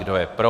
Kdo je pro?